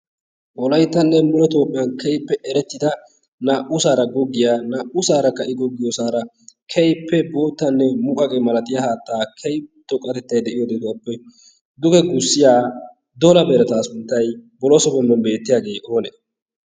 wolayttanne mule toopphiyan keippe erettida naa"usaara goggiyaa naa"usaarakka i goggiyoosaara keippe boottanne muugagee malatiya haattaa kei to qatettai de'iyo detuwaappe duge gussiya dola beerataa sunttay boloso bombben beettiyaagee oonee?